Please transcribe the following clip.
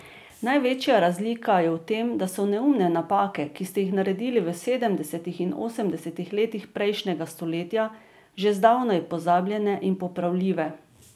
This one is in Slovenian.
Največja razlika je v tem, da so neumne napake, ki ste jih naredili v sedemdesetih in osemdesetih letih prejšnjega stoletja, že zdavnaj pozabljene in popravljive.